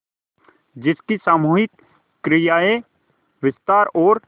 जिसकी सामूहिक क्रियाएँ विस्तार और